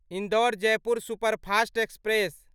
Indore Jaipur superfast express